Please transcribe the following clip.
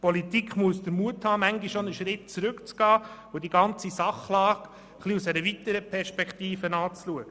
Die Politik muss den Mut haben, manchmal auch einen Schritt zurückzutreten und die ganze Sachlage aus einer erweiterten Perspektive zu betrachten.